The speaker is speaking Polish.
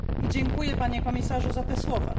Dziękuję Panie Komisarzu za te słowa.